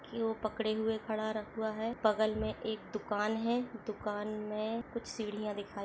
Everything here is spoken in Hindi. कि वो पकड़े हुआ खड़ा रखवा है बगल में एक दुकान है दुकान में कुछ सीढ़िया दिखाई--